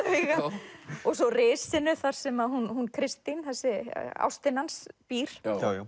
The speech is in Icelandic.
augað og svo þar sem Kristín ástin hans býr